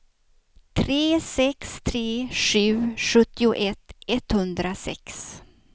tre sex tre sju sjuttioett etthundrasex